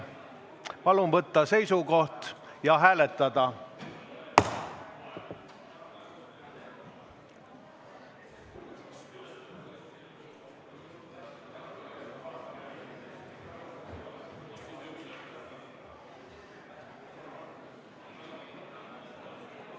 Palun võtta seisukoht ja hääletada!